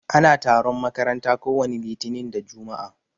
Ana taron makaranta ko wani litinin da jumua'a.